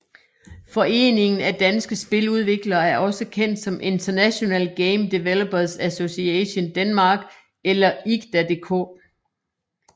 Foreningen af Danske Spiludviklere er også kendt som International Game Developers Association Denmark eller IGDA DK